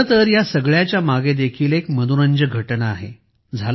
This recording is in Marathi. खरेतर या सगळ्याच्या मागे देखील एक मनोरंजक घटना आहे